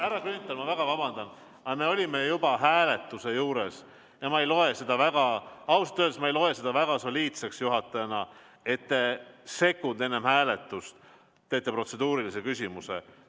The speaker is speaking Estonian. Härra Grünthal, ma väga vabandan, aga me olime juba hääletuse juures ja ma ei loe seda ausalt öeldes juhatajana väga soliidseks, et te sekund enne hääletust esitate protseduurilise küsimuse.